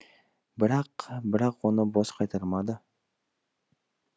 бірақ бірақ оны бос қайтармады